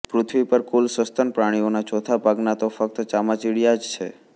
પૃથ્વી પર કુલ સસ્તન પ્રાણીઓનાં ચોથા ભાગના તો ફક્ત ચામાચિડિયાં જ છે